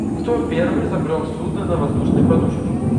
кто первый изобрел судно на воздушной подушке